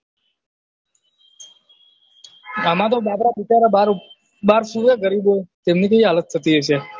આમાં તો બાબરા બિચારા બાર સુવે ગરીબો એમની કેવી હાલત થતી હશે